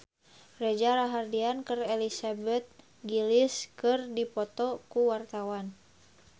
Reza Rahardian jeung Elizabeth Gillies keur dipoto ku wartawan